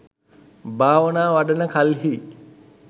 භාවනා වඩන කල්හි